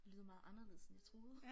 Lyder meget anderledes end jeg troede